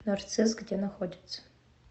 нарцисс где находится